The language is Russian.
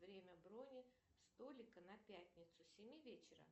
время брони столика на пятницу с семи вечера